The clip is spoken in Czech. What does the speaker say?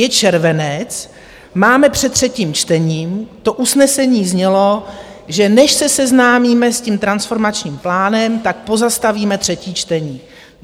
Je červenec, máme před třetím čtením, to usnesení znělo, že než se seznámíme s tím transformačním plánem, tak pozastavíme třetí čtení.